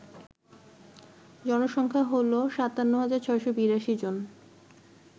জনসংখ্যা হল ৫৭৬৮২ জন